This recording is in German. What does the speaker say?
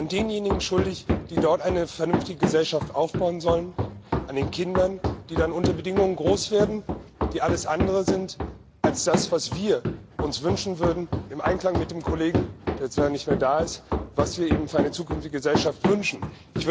denjenigen schuldig, die dort eine vernünftige Gesellschaft aufbauen sollen, an den Kindern, die dann unter Bedingungen groß werden, die alles andere sind als das, was wir uns im Einklang mit dem Kollegen, der leider nicht mehr da ist für eine zukünftige Gesellschaft wünschen würden.